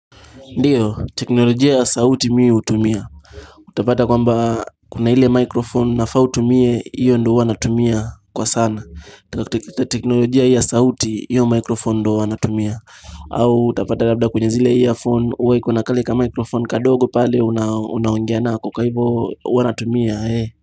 Ndiyo, teknolojia ya sauti mi hutumia. Utapata kwa mba kuna hile microphone nafaa utumie, hiyo ndo huwanatumia kwa sana. Teknolojia ya sauti, hiyo microphone ndo wanatumia. Au, utapata labda kwenye zile iya phone, huwa kuna kaleka microphone kadogo pale unaongea nako, kwa hivo huwanatumia.